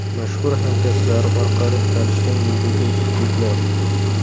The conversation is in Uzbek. Mashhur hamkasblari orqali tanishgan yulduzli juftliklar .